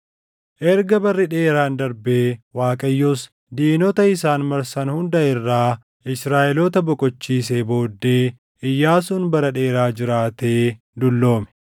Erga barri dheeraan darbee Waaqayyos diinota isaan marsan hunda irraa Israaʼeloota boqochiisee booddee Iyyaasuun bara dheeraa jiraatee dulloome;